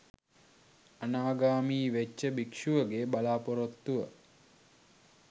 අනාගාමී වෙච්ච භික්ෂුවගේ බලාපොරොත්තුව